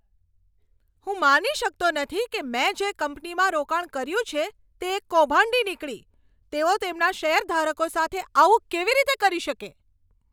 હું માની શકતો નથી કે મેં જે કંપનીમાં રોકાણ કર્યું છે તે એક કૌભાંડી નીકળી. તેઓ તેમના શેરધારકો સાથે આવું કેવી રીતે કરી શકે?